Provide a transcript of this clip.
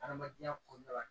Hadamadenya kɔnɔna la